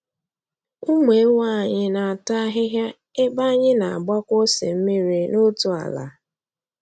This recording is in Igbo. Ụmụ ewu anyị na-ata ahịhịa ebe anyị na-agbakwa ose mmiri n'otu ala.